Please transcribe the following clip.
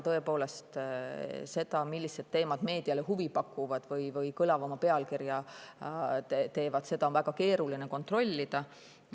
Tõepoolest, seda, millised teemad meediale huvi pakuvad või kõlavama pealkirja saavad, on väga keeruline kontrollida.